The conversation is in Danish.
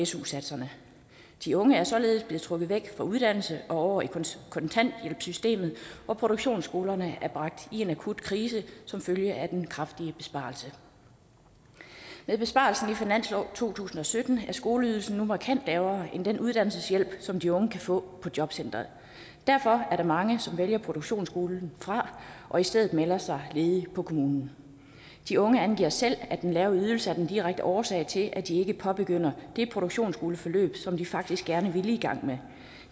su satserne de unge er således trukket væk fra uddannelse og over i kontanthjælpssystemet og produktionsskolerne er bragt i en akut krise som følge af den kraftige besparelse med besparelsen i finansloven to tusind og sytten er skoleydelsen nu markant lavere end den uddannelseshjælp som de unge kan få på jobcentrene derfor er der mange som vælger produktionsskolen fra og i stedet melder sig ledige på kommunen de unge angiver selv at den lave ydelse er den direkte årsag til at de ikke påbegynder det produktionsskoleforløb som de faktisk gerne ville i gang med